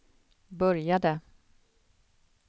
började